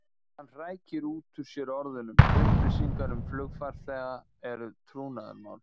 Hann hrækir út úr sér orðunum: Upplýsingar um flugfarþega eru trúnaðarmál.